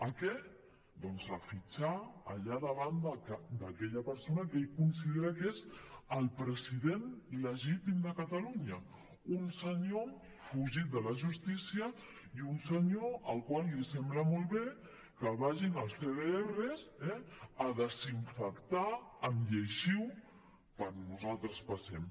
a què doncs a fitxar allà davant d’aquella persona que ell considera que és el president legítim de catalunya un senyor fugit de la justícia i un senyor al qual li sembla molt bé que vagin els cdrs eh a desinfectar amb lleixiu per on nosaltres passem